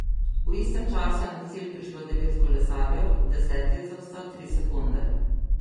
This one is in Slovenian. V istem času je na cilj prišlo devet kolesarjev, deseti je zaostal tri sekunde.